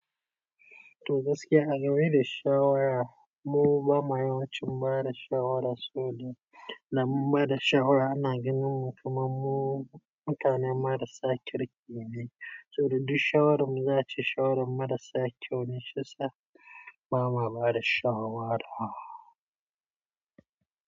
To gaskiya a game da shawara, mu ba ma yawancin bada shawara, saboda da mu bada shawara ana ganin mu kamar mu mutane marasa kirki ne. Saboda duk shawaranmu za su yi shawaran marasa kyau ne, shiya sa ba ma bada shawara.